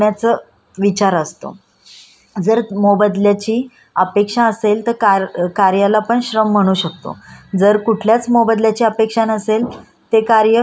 जर कुठल्याच मोबदल्याची अपेक्षा नसेल ते कार्य श्रम म्हणले जाऊ शकत नाही. हे पण खर्च आहे. आपण कुठलंही क कुठलंही काम करतो त त्या मागे आपण